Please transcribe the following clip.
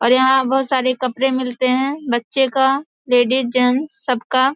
और यहाँ बहोत सारे कपड़े मिलते हैं बच्चे का लेडीज जेंट्स सबका।